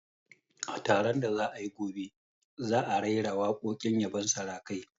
A taron da za'a yi gobe, za'a raira waƙoƙin yabon sarakai